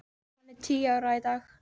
Hún er tíu ára í dag.